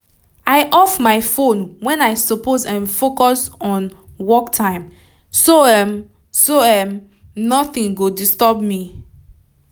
i off my phone wen i suppose um focus on work time so um so um nothing go disturb me